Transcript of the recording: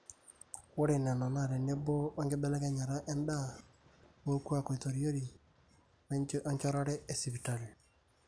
ore nena naa tenebo o enkibelekenyata endaa, orkuaak oitoriori o enjorare esipitali